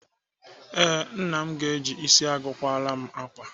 Ee, Nna m ga-eji isi agụ akwara m ákwà